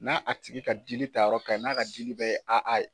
Na a tigi ka dili ta yɔrɔ kan ɲi n'a ka dili bɛɛ ye AA ye.